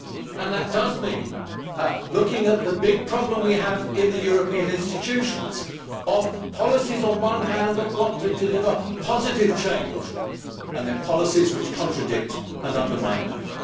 And that means looking at the big problem we have in the European institutions of policies, on the one hand, that want to deliver positive change and policies, on the other, which contradict and undermine that.